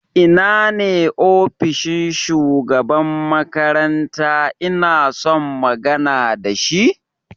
Ina ne ofishin shugaban makaranta inason magana da shi?